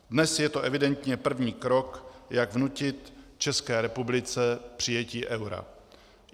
Dnes je to evidentně první krok, jak vnutit České republice přijetí eura.